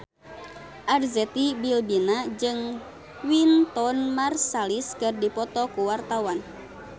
Arzetti Bilbina jeung Wynton Marsalis keur dipoto ku wartawan